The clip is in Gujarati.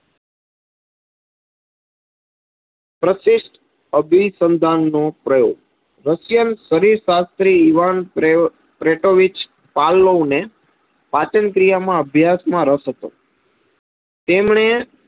પ્રશિસ્ટ અભિસંધાન નો પ્રયોગ. મુખ્યનત શરીર શાસ્ત્રી યુવાન પ્રેટોવીચ પાલવ ને પાચન ક્રિયામાં અભ્યાસ માં રસ હતો. તેમણે,